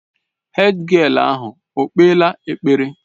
Hédgịél ahụ okpeela ekpere?